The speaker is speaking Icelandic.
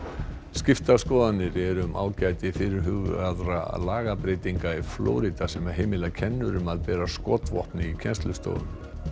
skiptar skoðanir eru um ágæti fyrirhugaðra lagabreytinga í Flórída sem heimila kennurum að bera skotvopn í kennslustofum